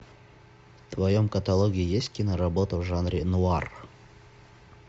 в твоем каталоге есть киноработа в жанре нуар